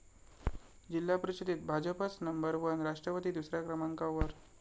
जिल्हा परिषदेत भाजपच नंबर वन, राष्ट्रवादी दुसऱ्या क्रमांकावर